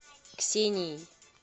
ксенией